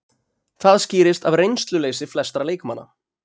Það skýrist af reynsluleysi flestra leikmanna